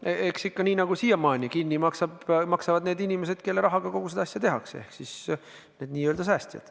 Eks see ole ikka nii, nagu siiamaani: kinni maksavad selle need inimesed, kelle rahaga kogu seda asja tehakse, ehk siis n-ö säästjad.